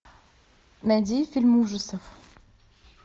найди фильм ужасов